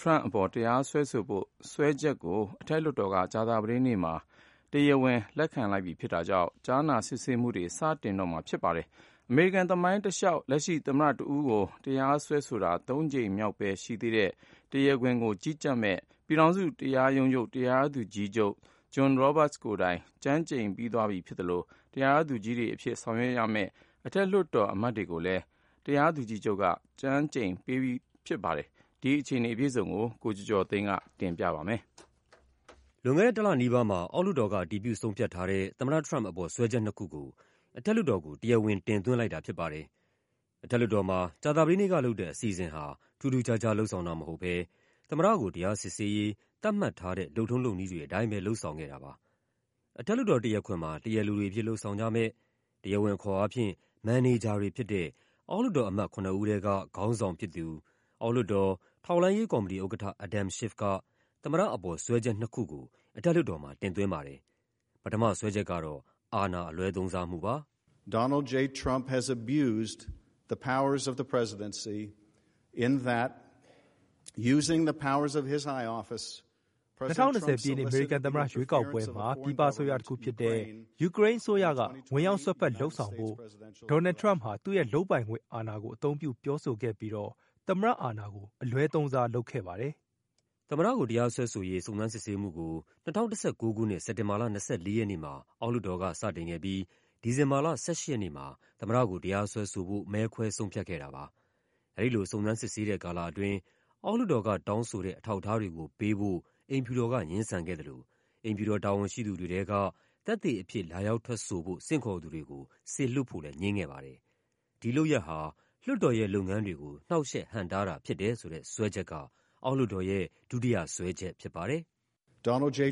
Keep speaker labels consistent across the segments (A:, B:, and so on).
A: ထရမ့်အပေါ် တရားစွဲဆိုဖို့ စွဲချက်တွေကို အထက်လွှတ်တော်က ကြာသပတေးနေ့မှာ တရား ဝင်လက်ခံလိုက်ပြီဖြစ်တာကြောင့် ကြားနာစစ်ဆေးမှုကို စတင်တော့မှာဖြစ်ပါတယ်။ အမေရိကန်သမိုင်းတလျှောက် လက်ရှိ သမ္မတတဦးကို တရားစွဲဆိုတာ သုံးကြိမ်မြောက်ပဲရှိသေးတဲ့ တရားခွင်ကို ကြီးကြပ်မယ့် ပြည်ထောင်စု တရားရုံးချုပ် တရားသူကြီး ချုပ် John Roberts ကိုယ်တိုင် ကျမ်းကျိန်ပြီးသွားပြီဖြစ်သလို တရားသူကြီးတွေအဖြစ် ဆောင်ရွက်ရမယ့် အထက်လွှတ်တော် အမတ်တွေကိုလည်း တရားသူကြီးချုပ်က ကျမ်းကျိန်ပေးပြီးသွားပါပြီ။ ဒီအခြေအနေအပြည့်အစုံကို ကိုကျော်ကျော်သိန်းက ပြောပြပါမယ်။ လွန်ခဲ့တဲ့တလနီးပါးမှာ အောက်လွှတ်တော်က အတည်ပြု ဆုံးဖြတ်ထားတဲ့ သမ္မတထရမ့်ပ်အပေါ် စွဲချက်နှစ်ခုကို အထက် လွှတ်တော်ကို တရားဝင် တင်သွင်းလိုက်တာဖြစ်ပါတယ်။ အထက်လွှတ်တော်မှာ ကြာသပတေးနေ့ကလုပ်တဲ့ အစီအစဉ်ဟာ ထူးထူးခြားခြား လုပ်ဆောင်တာမဟုတ်ဘဲ သမ္မတကို တရား စစ်ဆေးရေး သတ်မှတ်ထားတဲ့ လုပ်ထုံးလုပ်နည်းတွေအတိုင်းပဲ လုပ်ဆောင်ခဲ့တာပါ။ အထက်လွှတ်တော် တရားခွင်မှာ တရားလိုတွေအဖြစ် လုပ်ဆောင်ကြမယ့်၊ တရားဝင်အခေါ်အားဖြင့် မန်နေဂျာတွေဖြစ်တဲ့ အောက်လွှတ်တော်အမတ် ခုနစ်ဦးထဲက ခေါင်းဆောင်ဖြစ်သူ အောက်လွှတ်တော်၊ ထောက်လှမ်းရေးကော်မတီဥက္ကဋ္ဌ Adam Schiff က သမ္မတအပေါ် စွဲချက်နှစ်ခုကို အထက် လွှတ်တော်မှာ တင်သွင်းပါတယ်။ ပထမစွဲချက်ကတော့ အာဏာအလွဲသုံးစား မှုပါ။ “၂၀၂၀ ပြည့်နှစ် အမေရိကန် သမ္မတရွေးကောက်ပွဲမှာ ပြည်ပအစိုးရတခုဖြစ်တဲ့ ယူကရိန်းအစိုးရက ဝင်ရောက် စွက်ဖက် လုပ်ဆောင်ပေးဖို့ Donald J. Trump ဟာ သူ့ရဲ့ လုပ်ပိုင်ခွင့်အာဏာကို အသုံးပြု ပြောဆိုပြီးတော့ သမ္မတအာဏာကို အလွဲသုံးစားလုပ်ခဲ့ပါတယ်။” သမ္မတကို တရားစွဲဆိုရေး စုံစမ်းစစ်ဆေးမှုကို ၂၀၁၉ ခုနှစ်၊ စက်တင်ဘာလ ၂၄ ရက်နေ့မှာ အောက်လွှတ်တော်က စတင်ခဲ့ပြီး ဒီဇင်ဘာလ ၁၈ ရက်နေ့မှာ သမ္မတကို တရားစွဲဆိုဖို့ မဲခွဲဆုံးဖြတ်ခဲ့တာပါ။ အဲဒီလို စုံစမ်းစစ်ဆေးတဲ့ကာလအတွင်း အောက် လွှတ်တော်ကတောင်းဆိုတဲ့ အထောက်အထားတွေကိုပေးဖို့ အိမ်ဖြူတော်က ငြင်းဆိုခဲ့သလို အိမ်ဖြူတော်တာဝန်ရှိသူတွေထဲက သက်သေအဖြစ် လာရောက်ထွက်ဆိုဖို့ ဆင့်ခေါ်သူတွေကို စေလွှတ်ဖို့လည်း ငြင်းခဲ့ပါတယ်။ ဒီလုပ်ရပ်ဟာ လွှတ်တော်ရဲ့လုပ်ငန်းတွေကို နှောင့်ယှက်ဟန့်တားတာဖြစ်တယ်ဆိုတဲ့ စွဲချက်က အောက်လွှတ်တော်ရဲ့ ဒုတိယ စွဲချက်ဖြစ်ပါတယ်။ “သမ္မတကို တရ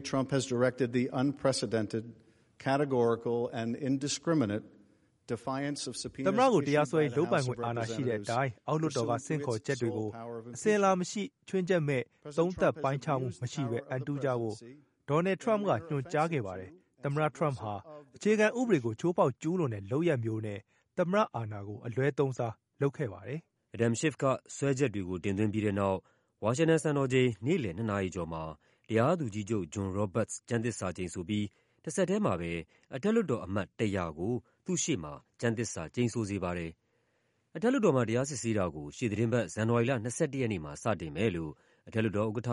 A: ားစွဲဆိုရေး လုပ်ပိုင်ခွင့်အာဏာရှိတဲ့အတိုင်း အောက်လွှတ်တော်က ဆင့်ခေါ်ချက်တွေကို အစဉ် အလာမရှိ၊ ခြွင်းချက်မဲ့၊ သုံးသပ်ပိုင်းခြားမှုမရှိဘဲ အံတုကြဖို့ Donald J. Trump က ညွှန်ကြားခဲ့ပါတယ်။ သမ္မတထရမ့်ပ်ဟာ အခြေခံဥပဒေကို ချိုးဖောက် ကျူးလွန်တဲ့ လုပ်ရပ်မျိုးနဲ့ သမ္မတအာဏာကို အလွဲသုံးစားလုပ်ခဲ့ပါတယ်။” Adam Schiff က စွဲချက်တွေကို တင်သွင်းပြီးတဲ့နောက် ဝါရှင်တန်စံတော်ချိန် နေ့လည် ၂ နာရီကျော်မှာ တရားသူကြီးချုပ် John Roberts ကျမ်းသစ္စာကျိန်ဆိုပြီး တဆက်ထဲမှာပဲ အထက်လွှတ်တော်အမတ် ၁၀၀ ကို သူ့ရှေ့မှာ ကျမ်းသစ္စာကျိန်ဆိုစေပါတယ်။ အထက်လွှတ်တော်မှာ တရားစစ်ဆေးတာကို ရှေ့သီတင်းပတ် ဇန်နဝါရီလ ၂၁ ရက်မှာ စတင်မယ်လို့ အထက်လွှတ်တော်ဥက္ကဋ္ဌ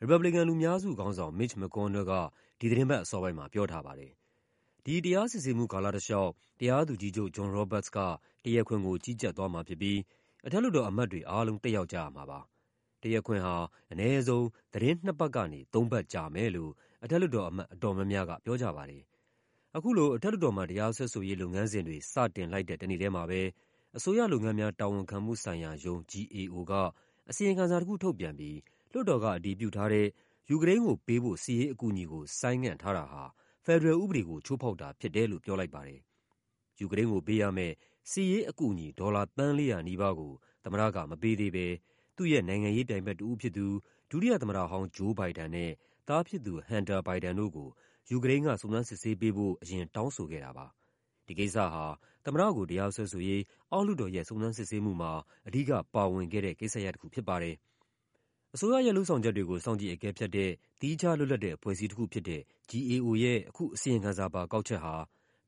A: ရီပတ်ဘလီကန် လူများစုခေါင်းဆောင် Mitch McConnell က ဒီသီတင်းပတ်အစောပိုင်းမှာ ပြောထားပါတယ်။ ဒီတရားစစ်ဆေးမှု ကာလတလျှောက် တရားသူကြီးချုပ် John Roberts က တရားခွင်ကို ကြီးကြပ်သွားမှာဖြစ်ပြီး အထက် လွှတ်တော်အမတ်တွေအားလုံး တက်ရောက်ကြရမှာပါ။ တရားခွင်ဟာ အနည်းဆုံး သီတင်း နှစ်ပတ်ကနေ သုံးပတ် ကြာမယ်လို့ အထက်လွှတ်တော်အမတ် အတော်များများက ပြောကြပါတယ်။ အခုလို အထက်လွှတ်တော်မှာ တရားစွဲဆိုရေး လုပ်ငန်းစဉ်တွေ စတင်လိုက်တဲ့ တနေ့ထဲမှာပဲ အစိုးရလုပ်ငန်းများ တာဝန်ခံမှု ဆိုင်ရာရုံး (GAO) က အစီရင်ခံစာတခုထုတ်ပြန်ပြီး လွှတ်တော်ကအတည်ပြုထားတဲ့ ယူကရိန်းကိုပေးဖို့ စစ်ရေးအကူအညီကို ဆိုင်းငံ့ထားတာဟာ ဖက်ဒရယ်ဥပဒေကို ချိုးဖောက်တာဖြစ်တယ်လို့ ပြောလိုက်ပါတယ်။ ယူကရိန်းကိုပေးရမယ့် စစ်ရေးအကူအညီ ဒေါ်လာ သန်း ၄၀၀ နီးပါးကို သမ္မတကမပေးသေးဘဲ သူ့ရဲ့နိုင်ငံရေးပြိုင်ဘက်တဦး ဖြစ်သူ ဒုတိယသမ္မတဟောင်း Joe Biden နဲ့ သားဖြစ်သူ Hunter Biden တို့ကို ယူကရိန်းက စုံစမ်းစစ်ဆေးပေးဖို့ အရင် တောင်းဆိုခဲ့တာပါ။ ဒီကိစ္စဟာ သမ္မတကို တရားစွဲဆိုရေး အောက်လွှတ်တော်ရဲ့ စုံစမ်းစစ်ဆေးမှုမှာ အဓိကပါဝင်ခဲ့တဲ့ ကိစ္စရပ်တခု ဖြစ်ပါတယ်။ အစိုးရရဲ့လုပ်ဆောင်ချက်တွေကို စောင့်ကြည့်အကဲဖြတ်တဲ့ သီးခြားလွတ်လပ်တဲ့ အဖွဲ့အစည်းတခုဖြစ်တဲ့ GAO ရဲ့ အခု အစီရင် ခံစာပါ ကောက်ချက်ဟာ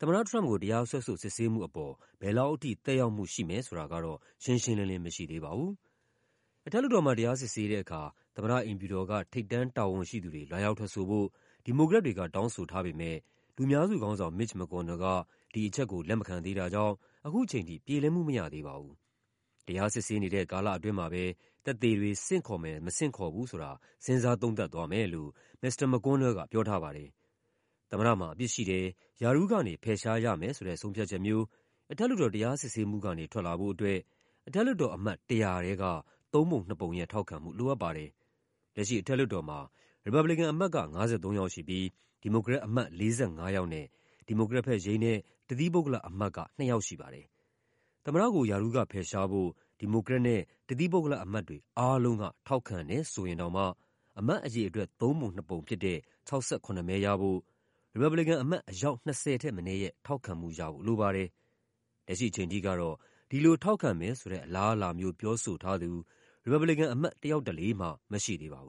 A: သမ္မတထရမ့်ပ်ကို တရားစွဲဆိုစစ်ဆေးမှုပေါ် ဘယ်လောက်ထိ သက်ရောက်မှုရှိမယ်ဆိုတာကတော့ ရှင်းရှင်းလင်းလင်း မရှိသေးပါဘူး။ အထက်လွှတ်တော်မှာ တရားစစ်ဆေးတဲ့အခါ သမ္မတအိမ်ဖြူတော်က ထိပ်တန်းတာဝန်ရှိသူတွေ လာရောက်ထွက်ဆိုဖို့ ဒီမိုကရက် တွေက တောင်းဆိုထားပေမယ့် လူများစုခေါင်းဆောင် Mitch McConnell က ဒီအချက်ကို လက်မခံသေးတာကြောင့် ခုချိန်ထိ ပြေလည်မှုမရသေးပါဘူး။ တရားစစ်ဆေးနေတဲ့ ကာလအတွင်းမှာပဲ သက်သေတွေ ဆင့်ခေါ်မယ် မဆင့်ခေါ်ဘူးဆိုတာ စဉ်းစားသုံးသပ်သွားမယ်လို့ မစ္စတာ McConnell က ပြောထားပါတယ်။ သမ္မတမှာအပြစ်ရှိတယ်၊ ရာထူးကနေဖယ်ရှားရမယ်ဆိုတဲ့ ဆုံးဖြတ်ချက်မျိုး အထက်လွှတ်တော် တရားစစ်ဆေးမှုကနေ ထွက်လာ ဖို့အတွက် အထက်လွှတ်တော်အမတ် ၁၀၀ ထဲက သုံးပုံနှစ်ပုံရဲ့ထောက်ခံမှု လိုအပ်ပါတယ်။ လက်ရှိအထက်လွှတ်တော်မှာ ရီပတ်ဘလီကန်အမတ်က ၅၃ ယောက်ရှိပြီး ဒီမိုကရက်အမတ် ၄၅ ယောက်နဲ့ ဒီမိုကရက်ဘက် ယိမ်းတဲ့ တသီးပုဂ္ဂလအမတ်က ၂ ယောက်ရှိပါတယ်။ သမ္မတကို ရာထူးကဖယ်ရှားဖို့ ဒီမိုကရက်နဲ့ တသီးပုဂ္ဂလအမတ်တွေ အားလုံးက ထောက်ခံတယ်ဆိုရင်တောင်မှ အမတ်အရေအတွက် သုံးပုံနှစ်ပုံဖြစ်တဲ့ ၆၇ မဲရဖို့ ရီပတ်ဘလီကန်အမတ် အယောက် ၂၀ ထက်မနည်းရဲ့ ထောက်ခံမှုရဖို့လိုပါတယ်။ လက်ရှိအချိန်ထိကတော့ ဒီလိုထောက်ခံမယ်ဆိုတဲ့ အလားအလာမျိုး ပြောဆိုထားသူ ရီပတ်ဘလီကန်အမတ် တယောက်တလေ မှ မရှိသေးပါဘူး